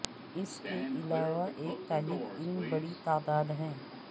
اس کے علاوہ ایک طالب علم بڑی تعداد ہے